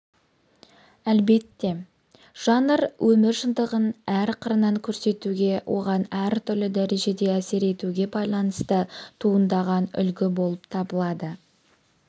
әлбетте жанр өмір шындығын әр қырынан көрсетуге оған әртүрлі дәрежеде әсер етуге байланысты туындаған үлгі болып табылады